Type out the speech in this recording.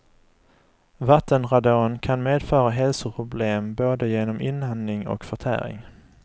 Vattenradon kan medföra hälsoproblem både genom inandning och förtäring.